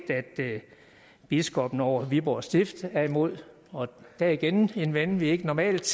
at biskoppen over viborg stift er imod og det er igen en ven vi normalt